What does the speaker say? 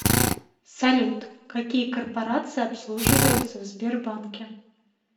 салют какие корпорации обслуживаются в сбербанке